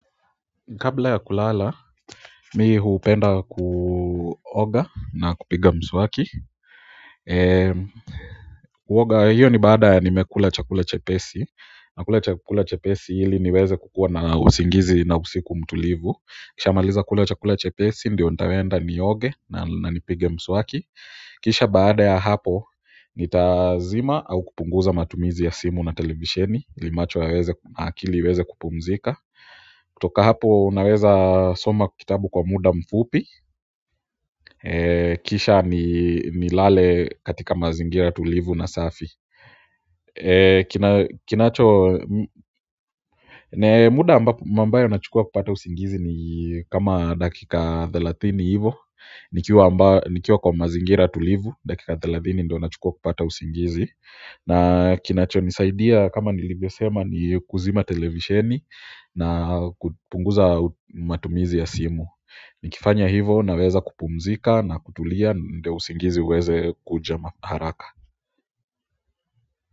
Kabla ya kulala, mi hupenda kuoga na kupiga mswaki kuoga hiyo ni baada ya nimekula chakula chepesi na kula chakula chepesi ili niweze kukua na usingizi na usiku mtulivu ni kisha maliza kula chakula chepesi ndiyo nitaenda nioge na nipige mswaki kisha baada ya hapo nitazima au kupunguza matumizi ya simu na televisheni ili macho yaweze akili iweze kupumzika kutoka hapo naweza soma kitabu kwa muda mfupi kisha nilale katika mazingira tulivu na safi kinacho, muda ambayo nachukua kupata usingizi ni kama dakika thelathini hivo nikiwa nikiwa kwa mazingira tulivu, dakika thelathini ndio nachukua kupata usingizi na kinachonisaidia kama nilivyo sema ni kuzima televisheni na kupunguza matumizi ya simu nikifanya hivo naweza kupumzika na kutulia ndio usingizi uweze kuja ma haraka.